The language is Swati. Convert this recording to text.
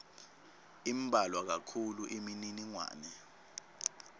imbalwa kakhulu imininingwane